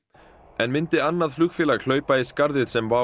en myndi annað flugfélag hlaupa í skarðið sem Wow